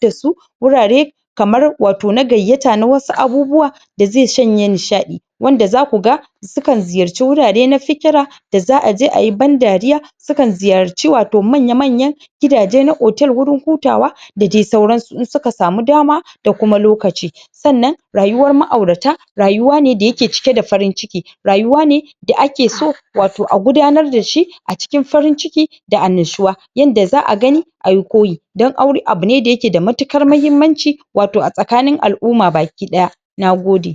dasu A wannan madafa Yayin da tayi su wanke wanke Da goge goge na inda ta hadu Wato tayi ayyukan ta Wannan yakan gwada mana cewa Tana dauke da Tsafta Wato a jikin ta Wato takan tsaftace Wato mahallin ta Wadannan abubuwa ne Da take yinsu da dare wanda suke sanya ta farin ciki da nishaɗi Bayan dawowa daga wurin aiki Na gode